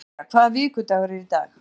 Julia, hvaða vikudagur er í dag?